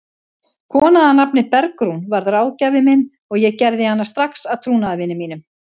Kona að nafni Bergrún varð ráðgjafinn minn og ég gerði hana strax að trúnaðarvini mínum.